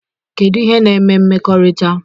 Kedu ihe na-eme mmekọrịta?